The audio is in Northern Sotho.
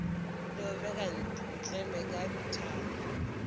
le omeka ntleme ka dithala